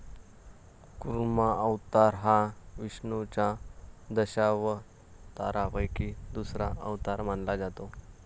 कुर्मा अवतार हा विष्णुच्या दशावतारापैकी दुसरा अवतार मानला जातो.